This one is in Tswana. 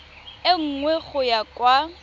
e nngwe go ya kwa